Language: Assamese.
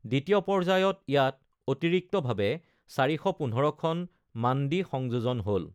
দ্বিতীয় পৰ্যায়ত ইয়াত অতিৰিক্তভাৱে ৪১৫খন মাণ্ডি সংয়োজন হ'ল।